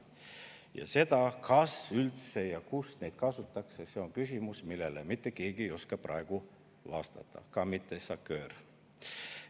Ja see, kas üldse või kus neid kasutatakse, on küsimus, millele mitte keegi ei oska praegu vastata, ka mitte SACEUR.